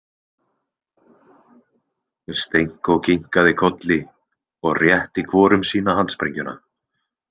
Stenko kinkaði kolli og rétti hvorum sína handsprengjuna.